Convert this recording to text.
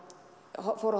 fór að